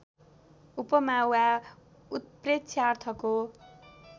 उपमा वा उत्प्रेक्षा अर्थको